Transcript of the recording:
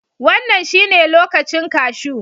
Wannan shine lokacin kashu